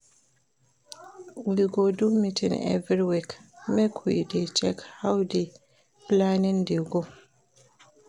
We go do meeting every week, make we dey check how di planning dey go.